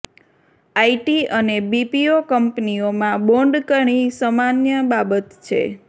IT અને BPO કંપનીઓમાં bond ઘણી સામાન્ય બાબત છે